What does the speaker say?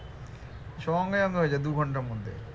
সঙ্গে সঙ্গে হয়ে যায় দু ঘন্টার মধ্যে